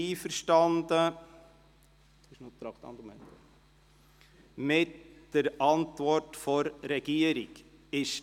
Die Motionärin ist mit der Antwort der Regierung einverstanden.